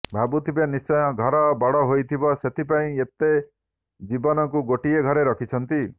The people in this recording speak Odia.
ଭାବୁଥିବେ ନିଶ୍ଚୟ ଘର ବଡ ହୋଇଥିବ ସେଥି ପାଇଁ ଏତେ ଜୀବଙ୍କୁ ଗୋଟିଏ ଘରେ ରଖିଛନ୍ତି